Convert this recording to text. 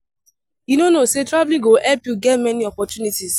You no know say traveling go help you get many opportunities